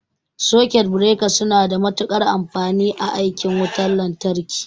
Sakut bireka suna da matuƙar amfani a aikin wutan lantarki.